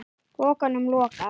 Pokanum lokað.